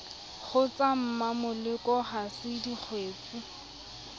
kgotsa mmamoleko ha se dingwetsi